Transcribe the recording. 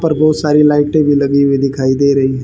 पर बहोत सारी लायटे भी लगी हुई दिखाई दे रही।